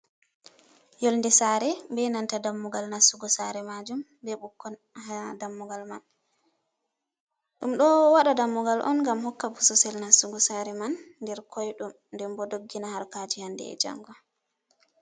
yonde saare be nanta dammugal nastugo saare majum be ɓikkon ha dammugal man bo ɗum ɗo waɗa dammugal on ngam hokka bosesel nastugo saare man nder koyɗum nden bo doggina harkaaji hande e jango.